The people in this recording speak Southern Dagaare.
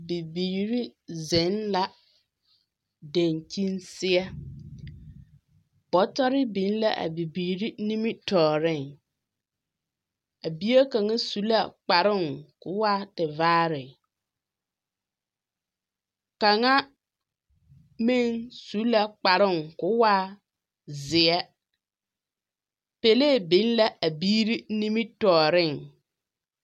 Bibiiri zeŋ la daŋkyini seɛ. Bɔtɔre biŋ la a biiiri nimitɔɔreŋ. A bie kaŋa su la kparoŋ ka o waa tevaare. Kaŋa meŋ su la kparoŋ ka o waa zeɛ. Pelee biŋ la a biiri nimitɔɔre.